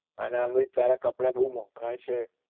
અને એમ ભી તારા કપડા ભૂ મોંઘા એ છે